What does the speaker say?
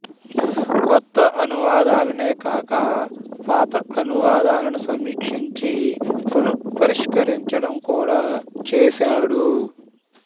కొత్త అనువాదాలనే కాక పాత అనువాదాలను సమీక్షించి పునః పరిష్కరించడం కూడా చేసాడు